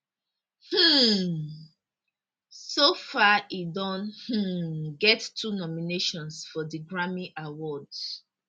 um so far e don um get two nominations for di grammy awards